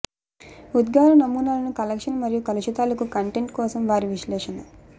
ఉద్గార నమూనాలను కలెక్షన్ మరియు కలుషితాలకు కంటెంట్ కోసం వారి విశ్లేషణ